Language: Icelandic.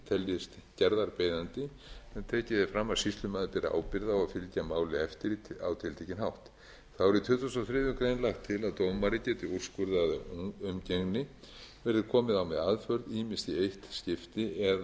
gerðist gerðarbeiðandi en tekið er fram að sýslumaður beri ábyrgð á að fylgja máli eftir á tiltekinn hátt þá er í tuttugasta og þriðju grein lagt til að dómari geti úrskurðað umgengni verði komið á með aðför ýmist í eitt skipti eða